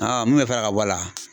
mun bɛ fara ka bɔ a la